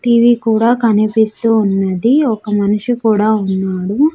TV కూడా కనిపిస్తూ ఉన్నది ఒక మనిషి కూడా ఉన్నాడు.